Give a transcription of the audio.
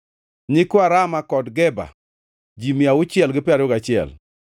nyikwa Rama kod Geba, ji mia auchiel gi piero ariyo gachiel (621),